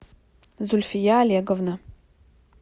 зульфия олеговна